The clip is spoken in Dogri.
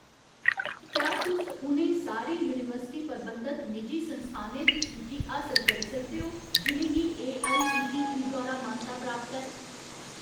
क्या तुस उ'नें सारे यूनिवर्सिटी प्रबंधत निजी संस्थानें दी सूची हासल करी सकदे ओ जि'नें गी एआईसीटीई द्वारा मानता प्राप्त ऐ ?